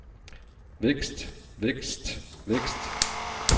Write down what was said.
vækst vækst vækst